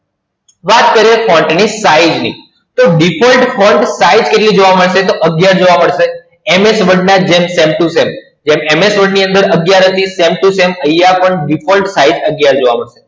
વાત કરીએ Font ની Style ની, તો Default Font Size કેટલી જોવા મળશે? તો અગિયાર જોવા મળશે. MS Word ના જેમ Same to Same જેમ MS Word ની અંદર અગિયાર હતી Same to Same અહિયાં પણ Default Size અગિયાર જોવા મળશે.